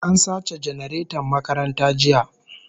An sace janareton makaranta jiya